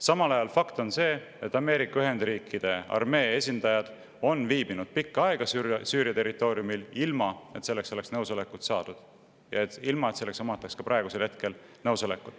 Samal ajal on fakt see, et Ameerika Ühendriikide armee esindajad on viibinud pikka aega Süüria territooriumil ilma, et selleks oleks nõusolekut saadud, ja ilma, et selleks oleks ka praegu olemas nõusolek.